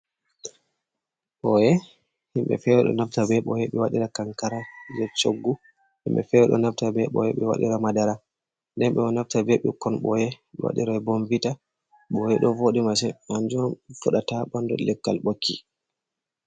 Ɓoye, himbe fere ɗo naftira be ɓoye ɓe waɗira kankara jei choggu. Himɓe fere ɗo naftira be ɓoye ɓe waɗira madara, nden ɓe ɗo naftira be ɓikkon boye ɓe waɗira bomvita. Ɓoye ɗo vooɗi masin kanjum on fuɗata ha bandu leggal ɓokki.